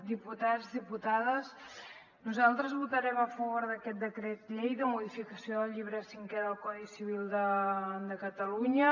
diputats diputades nosaltres votarem a favor d’aquest decret llei de modificació del llibre cinquè del codi civil de catalunya